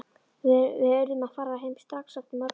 Við urðum að fara heim strax eftir morgunmat.